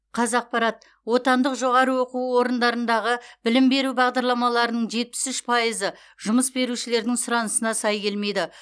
қазақпарат отандық жоғарғы оқу орындарындағы білім беру бағдарламаларының жетпіс үш пайызы жұмыс берушілердің сұранысына сай келмейді